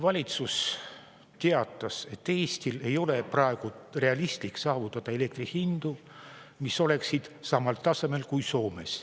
Valitsus teatas, et Eestil ei ole praegu realistlik saavutada elektri hindu, mis oleksid samal tasemel kui Soomes.